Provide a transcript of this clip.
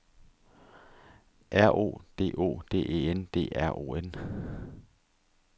R O D O D E N D R O N